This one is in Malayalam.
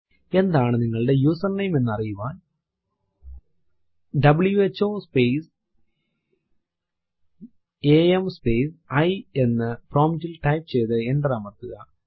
എന്താണ് നിങ്ങളുടെ യൂസർനേം എന്നറിയുവാൻ who space am space I എന്ന് prompt ൽ ടൈപ്പ് ചെയ്തു എന്റർ അമർത്തുക